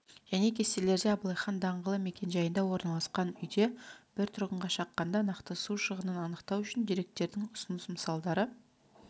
және кестелерде абылайхан даңғылы мекенжайында орналасқан үйде бір тұрғынға шаққанда нақты су шығынын анықтау үшін деректердің ұсыныс мысалдары